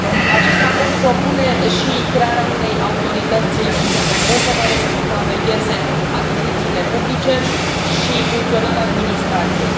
Acest raport propune și crearea unei autorități independente care să supravegheze achizițiile publice și funcționarea administrației.